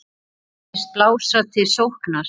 Þið hyggist blása til sóknar?